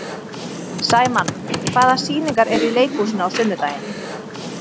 Sæmann, hvaða sýningar eru í leikhúsinu á sunnudaginn?